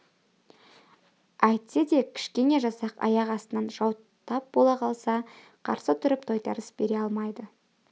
әйтсе де кішкене жасақ аяқ астынан жау тап бола қалса қарсы тұрып тойтарыс бере алмайды